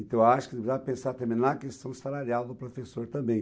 Então, eu acho que devemos pensar também na questão salarial do professor também.